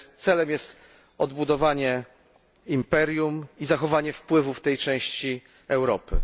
Celem jest odbudowanie imperium i zachowanie wpływów w tej części Europy.